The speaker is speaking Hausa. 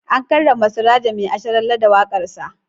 An karrama Surajo Mai Asharalle da waƙarsa.